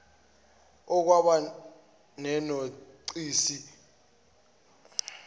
okwaba nenothisi yokuntshontshwa